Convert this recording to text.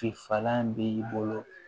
falan bɛ i bolo